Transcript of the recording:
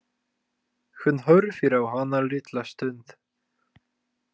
Hún horfir á hana litla stund.